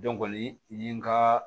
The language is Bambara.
Dɔn kɔni ye n ka